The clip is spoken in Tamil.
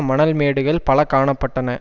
மணல் மேடுகள் பல காண பட்டன